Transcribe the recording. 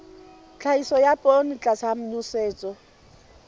tlhahiso ya poone tlasa nosetso